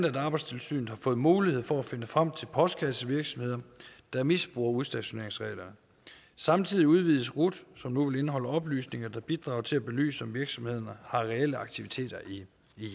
at arbejdstilsynet har fået mulighed for at finde frem til postkassevirksomheder der misbruger udstationeringsreglerne samtidig udvides rut som nu vil indeholde oplysninger der bidrager til at belyse om virksomhederne har reelle aktiviteter i